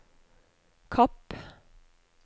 Kapp